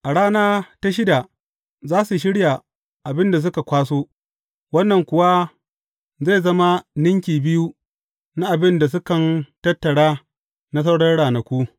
A rana ta shida za su shirya abin da suka kwaso, wannan kuwa zai zama ninki biyu na abin da sukan tattara na sauran ranaku.